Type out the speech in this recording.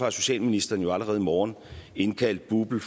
og socialministeren jo allerede i morgen indkaldt bupl